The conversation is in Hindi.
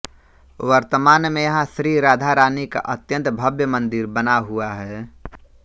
वर्तमान में यहां श्री राधा रानी का अत्यंत भव्य मंदिर बना हुआ है